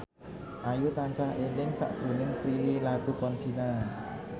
Ayu tansah eling sakjroning Prilly Latuconsina